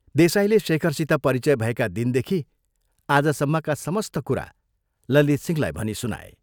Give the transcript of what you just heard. देसाईले शेखरसित परिचय भएका दिनदेखि आजसम्मका समस्त कुरा ललितसिंहलाई भनी सुनाए।